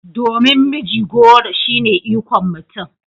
Domin mijigoro shine ikon mutum